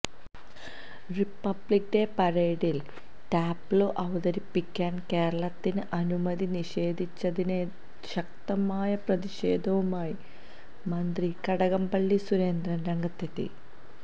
Republic Day പരേഡിൽ tableau അവതരിപ്പിക്കാൻ കേരളത്തിന് അനുമതി നിഷേധിച്ചതിനെതിരെ ശക്തമായ പ്രതിഷേധവുമായി മന്ത്രി കടകംപള്ളി സുരേന്ദ്രൻ രംഗത്തെത്തി